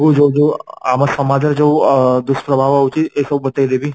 ଯୋଗୁ ଆମ ସଂଜ ରେ ଯୋଉ ଡୁସ ପ୍ରଭାବ ହୋଉଛି ଏଇ ସବୁ